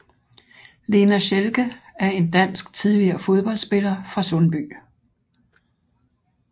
Lena Schelke er en dansk tidligere fodboldspiller fra Sundby